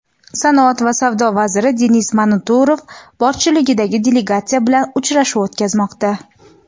sanoat va savdo vaziri Denis Manturov boshchiligidagi delegatsiya bilan uchrashuv o‘tkazmoqda.